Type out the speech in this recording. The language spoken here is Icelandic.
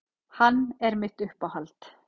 Hann er mitt uppáhald.